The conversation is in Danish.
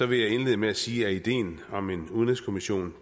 vil jeg indlede med at sige at ideen om en udenrigskommission